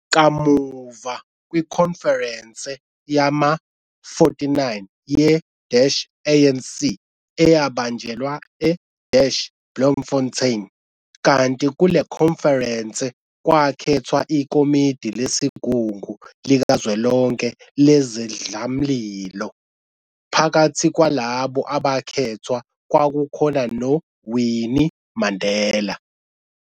Kamuva kwikhonferense yama 49 ye-ANC, eyabanjelwa e-Bloemfontein, kanti kule khonferense kwakhethwa ikomidi lesigungu likazwelonke lezidlamlilo, phakathi kwalabo abakhethwa kwakunoWinnie Mandela.